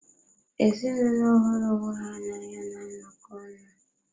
Ezinụlọ hụrụ onwe ha na anya na-anọkọ ọnụ.